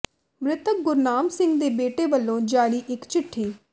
ਮ੍ਰਿਤਕ ਗੁਰਨਾਮ ਸਿੰਘ ਦੇ ਬੇਟੇ ਵੱਲੋਂ ਜਾਰੀ ਇੱਕ ਚਿੱਠੀ